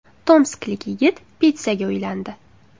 Tomsklik yigit pitssaga uylandi.